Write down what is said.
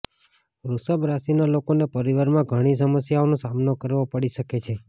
વૃષભ રાશિના લોકોને પરિવારમાં ઘણી સમસ્યાઓનો સામનો કરવો પડી શકે છે